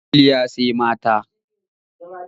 Kwalliya sai mata.